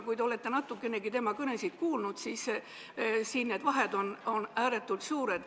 Kui te olete natukenegi tema kõnesid kuulnud, siis te teate, et need vahed on ääretult suured.